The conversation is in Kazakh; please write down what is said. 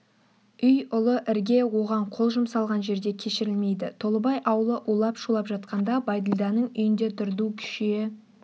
үй ұлы ірге оған қол жұмсалған жерде кешірілмейді толыбай аулы улап-шулап жатқанда бәйділданың үйінде дырду күшейе